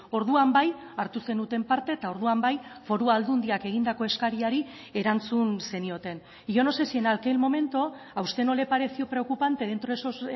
orduan bai hartu zenuten parte eta orduan bai foru aldundiak egindako eskariari erantzun zenioten y yo no sé si en aquel momento a usted no le pareció preocupante dentro de esos